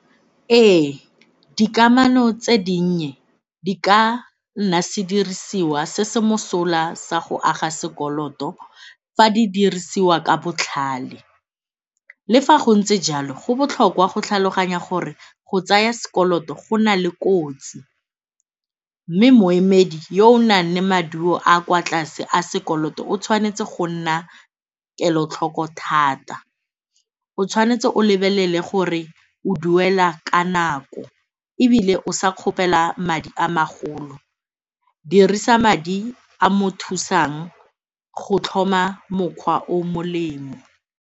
Ee, dikamano tse dinnye di ka nna sedirisiwa se se mosola sa go aga sekoloto fa di dirisiwa ka botlhale. Le fa go ntse jalo, go botlhokwa go tlhaloganya gore go tsaya sekoloto go na le kotsi mme moemedi yo o nang le maduoaa a kwa tlase a sekoloto o tshwanetse go nna kelotlhoko thata. O tshwanetse o lebelele gore o duela ka nako ebile o sa kgopela madi a magolo, dirisa madi a a mo thusang go tlhoma mokgwa o molemo.